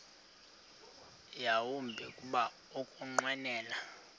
yawumbi kuba ukunqwenela